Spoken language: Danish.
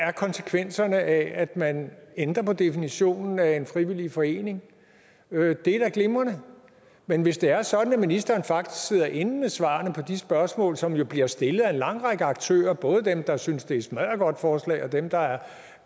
er konsekvenserne af at man ændrer på definitionen af en frivillig forening det er da glimrende men hvis det er sådan at ministeren faktisk sidder inde med svarene på de spørgsmål som jo bliver stillet af en lang række aktører både dem der synes at det er et smaddergodt forslag og dem der er